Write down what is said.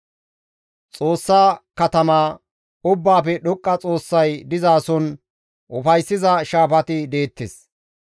Xoossa katama, Ubbaafe Dhoqqa Xoossay dizason ufayssiza shaafati deettes.